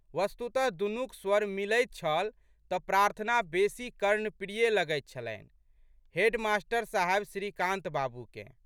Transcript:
वस्तुतः दुनुक स्वर मिलैत छल तऽ प्रार्थना बेशी कर्णप्रिय लगैत छलन्हि हेडमास्टर साहब श्रीकान्तबाबूकेँ।